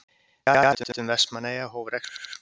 Fjarhitun Vestmannaeyja hóf rekstur.